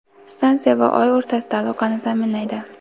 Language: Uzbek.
stansiya va oy o‘rtasida aloqani ta’minlaydi.